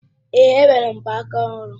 Èé, e nwere m mgbaaka ọhụrụ